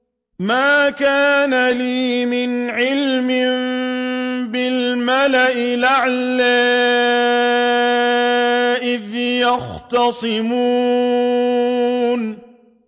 مَا كَانَ لِيَ مِنْ عِلْمٍ بِالْمَلَإِ الْأَعْلَىٰ إِذْ يَخْتَصِمُونَ